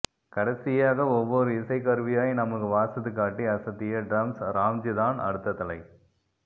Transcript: கடைசியாக ஒவ்வொரு இசைக் கருவியாய் நமக்கு வாசித்துக்காட்டி அசத்திய ட்ரம்ஸ் ராம்ஜிதான் அடுத்த தலை